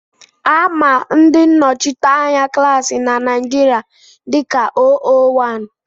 Á mà ndị nnọchiteanya klaasi na Naijiria dika óówán